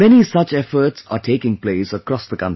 Many such efforts are taking place across the country